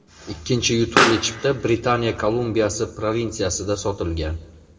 Ikkinchi yutuqli chipta Britaniya Kolumbiyasi provinsiyasida sotilgan.